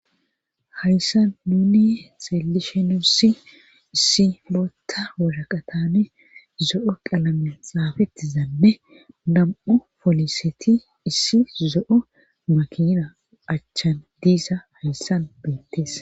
hayssan nuni xeelishe nuussi issi bootta woraqatane zo'o qalame xaafettizanne nam'u poliseti issi zo'o makina achchan diisa hayssan beettees